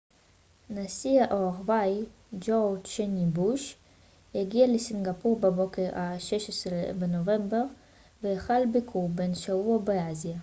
נשיא ארה ב ג'ורג' וו בוש הגיע לסינגפור בבוקר ה-16 בנובמבר והחל ביקור בן שבוע באסיה